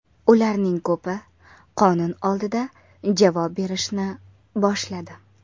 Ularning ko‘pi qonun oldida javob berishni boshladi.